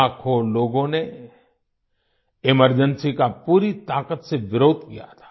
लाखों लोगों ने एमरजेंसी का पूरी ताकत से विरोध किया था